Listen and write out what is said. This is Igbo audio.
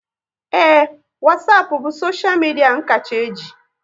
Ee, Wasapu bụ soshia media n kacha e ji